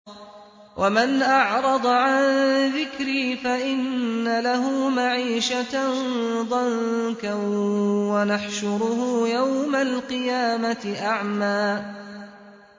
وَمَنْ أَعْرَضَ عَن ذِكْرِي فَإِنَّ لَهُ مَعِيشَةً ضَنكًا وَنَحْشُرُهُ يَوْمَ الْقِيَامَةِ أَعْمَىٰ